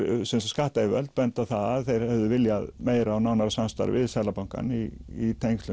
skattayfirvöld benda á það að þeir hefðu viljað meira og nánara samstarf við Seðlabankann í